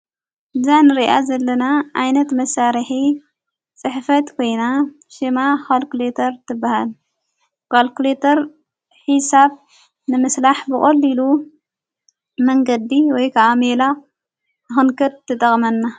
እዛን ርኣ ዘለና ኣይነት መሣርሐ ጽሕፈት ኮይና ሽማ ኻልክሌተር ትበሃል ጓልክሌተር ኂሳብ ንምስላሕ ብቖልኢሉ መንገዲ ወይከዓ ሜላ ሆንከት ትጠቕመና።